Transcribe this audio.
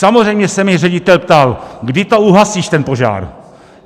Samozřejmě se mě ředitel ptal: kdy to uhasíš, ten požár?